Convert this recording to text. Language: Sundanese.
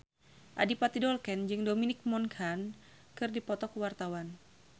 Adipati Dolken jeung Dominic Monaghan keur dipoto ku wartawan